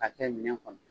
K'a kɛ minɛn kɔnɔ